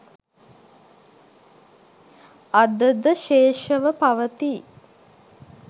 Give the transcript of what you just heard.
අද ද ශේෂව පවතී.